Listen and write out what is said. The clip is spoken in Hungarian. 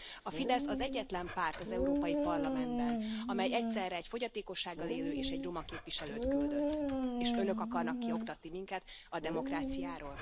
A Fidesz az egyetlen párt az Európai Parlamentben, amely egyszerre egy fogyatékossággal élő és egy roma képviselőt küldött, és Önök akarnak kioktatni minket a demokráciáról?